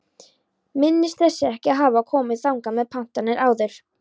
Minnist þess ekki að hafa komið þangað með pantanir áður.